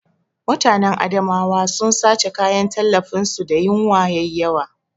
Mutanen Adamawa sun sace kayan tallafin su da yinwa yayi yawa